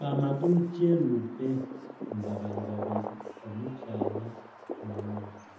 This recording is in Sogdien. Bamagulu kyerupe nga bali babiri omukyala nh'omwami ,